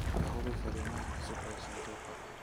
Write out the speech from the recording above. ka hubi fariimaha cusub ee sanduuqa